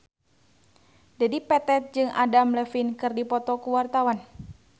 Dedi Petet jeung Adam Levine keur dipoto ku wartawan